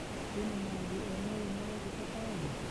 Kwĩna maũndũ o mothe marekĩka taũni ?